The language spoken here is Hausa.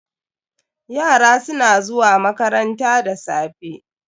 Yara su na zuwa makaranta da safe.